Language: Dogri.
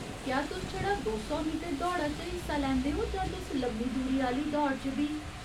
क्या तुस छड़ा दो सौ मीटर दौड़ा च हिस्सा लैंदे ओ जां तुस लम्मी दूरी आह्‌ली दौड़ च बी ?